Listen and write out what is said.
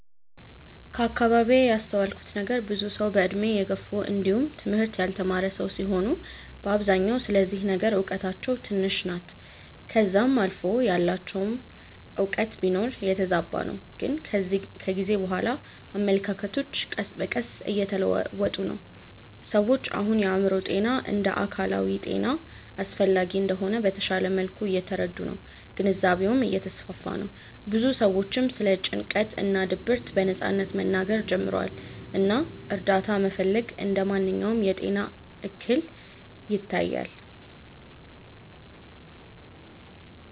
ከአከባቢዬ ያስተዋልኩት ነገር ብዙ ሰዉ በእድሜ የገፉ እንዲውም ትምህርት ያልተማረ ሰዉ ሲሆኑ በአብዛኛው ስለዚህ ነገር እውቀታቸው ትንሽ ናት ከዛም አልፎ ያላቸውም እውቀት ቢኖር የተዛባ ነው ግን ከጊዜ በኋላ አመለካከቶች ቀስ በቀስ እየተለወጡ ነው። ሰዎች አሁን የአእምሮ ጤና እንደ አካላዊ ጤና አስፈላጊ እንደሆነ በተሻለ መልኩ እየተረዱ ነው ግንዛቤውም እየተስፋፋ ነው ብዙ ሰዎችም ስለ ጭንቀት እና ድብርት በነጻነት መናገር ጀምረዋል እና እርዳታ መፈለግ እንደ ማንኛውም የጤና እክል ይታያል።